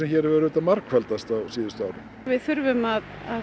hefur margfaldast á síðustu árum við þurfum að